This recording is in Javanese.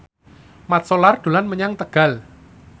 Mat Solar dolan menyang Tegal